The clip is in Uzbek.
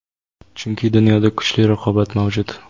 chunki dunyoda kuchli raqobat mavjud.